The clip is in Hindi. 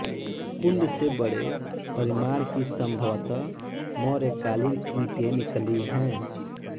कुंड से बड़े परिमाण की संभवत मौर्यकालीन ईंटें निकली हैं